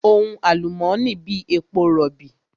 Ohun àlùmónì ni èpo rọ̀bì.